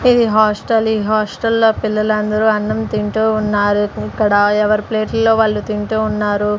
ఇది హాస్టల్ ఈ హాస్టల్లో పిల్లలందరూ అన్నం తింటూ ఉన్నారు ఇక్కడ ఎవరి ప్లేట్లలో వాళ్ళు తింటూ ఉన్నారు.